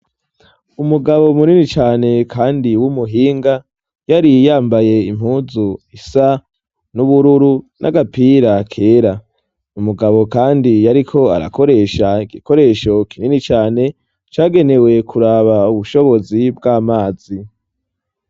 Umugabo munini cane kandi w'umuhinga, yari yambaye impuzu isa n'ubururu n'agapira kera. Umugabo kandi yariko arakoresha igikoresho kinini cane cagenewe kuraba ubushobozi bw'amazi.